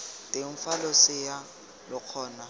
teng fa losea lo kgona